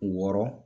Wɔɔrɔ